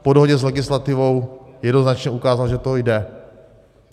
Po dohodě s legislativou jednoznačně ukázal, že to jde.